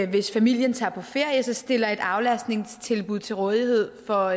hvis familien tager på ferie stiller et aflastningstilbud til rådighed for